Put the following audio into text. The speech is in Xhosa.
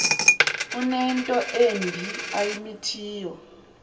unento embi ayimithiyo